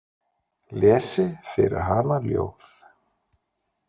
Lesi fyrir hana ljóð.